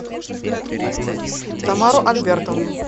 тамару альбертовну